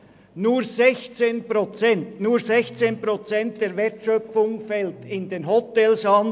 Nur 16 Prozent der Wertschöpfung fällt in den Hotels an;